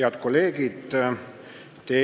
Head kolleegid!